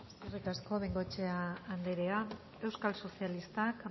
eskerrik asko bengoechea anderea euskal sozialistak